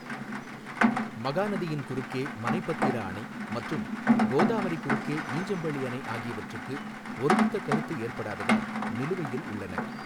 மகாநதியின் குறுக்கே மனைபத்திரா அணை மற்றும் கோதாவரி குறுக்கே ஈஞ்சம்பள்ளி அணை ஆகியவற்றுக்கு ஒருமித்த கருத்து ஏற்படாததால், நிலுவையில் உள்ளன.